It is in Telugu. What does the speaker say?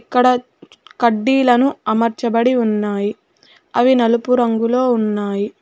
ఇక్కడ కడ్డీలను అమర్చబడి ఉన్నాయి అవి నలుపు రంగులో ఉన్నాయి.